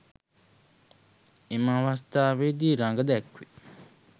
එම අවස්ථාවේදී රඟදැක්වේ.